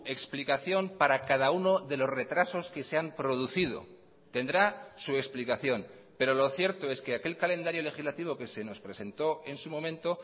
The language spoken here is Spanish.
explicación para cada uno de los retrasos que se han producido tendrá su explicación pero lo cierto es que aquel calendario legislativo que se nos presentó en su momento